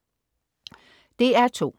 DR2: